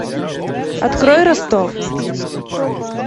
открой ростов